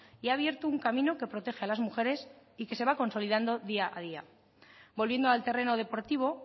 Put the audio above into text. y ha abierto un camino que protege a las mujeres y que se va consolidando día a día volviendo al terreno deportivo